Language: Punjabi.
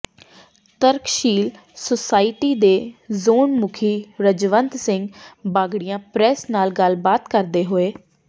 ਤਰਕਸ਼ੀਲ ਸੁਸਾਇਟੀ ਦੇ ਜ਼ੋਨ ਮੁਖੀ ਰਜਵੰਤ ਸਿੰਘ ਬਾਗੜੀਆਂ ਪ੍ਰੈੱਸ ਨਾਲ ਗੱਲਬਾਤ ਕਰਦੇ ਹੋਏ